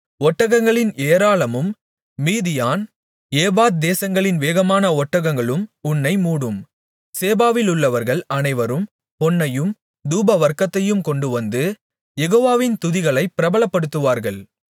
ஒட்டகங்களின் ஏராளமும் Midian Ephah தேசங்களின் வேகமான ஒட்டகங்களும் உன்னை மூடும் சேபாவிலுள்ளவர்கள் அனைவரும் பொன்னையும் தூபவர்க்கத்தையும் கொண்டுவந்து யெகோவாவின் துதிகளைப் பிரபலப்படுத்துவார்கள்